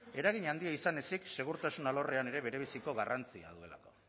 eragin handia izan ezik segurtasun alorrean ere berebiziko garrantzia duelako